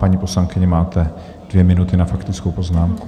Paní poslankyně, máte dvě minuty na faktickou poznámku.